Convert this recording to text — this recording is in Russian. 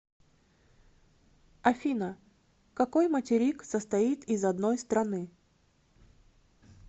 афина какой материк состоит из одной страны